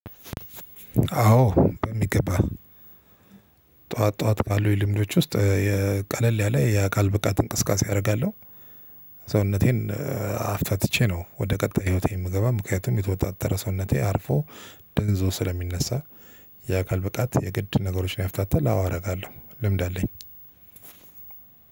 አዎ በሚገባ ጠዋት ጠዋት ካሉኝ ልምዶች ውስጥ የቀለል ያለ የአካል ብቃት እንቅስቃሴ አደርጋለሁ። ሰውነቴን አፍታትቼ ነው ወደ ቀጣይ ህይወቴ የምገባ ምክንያቱም የተወጣጠረ ሰውነቴ አርፎ ደንዝዞ ስለሚነሳ። የአካል ብቃት የግድ ነገሮችን ያፍታታል አዎ አረጋለሁ ልምድ አለኝ።